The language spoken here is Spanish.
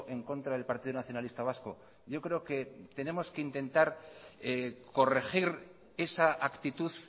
en contra del partido nacionalista vasco yo creo que tenemos que intentar corregir esa actitud